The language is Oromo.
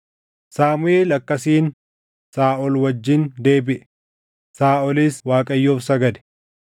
Saamuʼeel akkasiin Saaʼol wajjin deebiʼe; Saaʼolis Waaqayyoof sagade.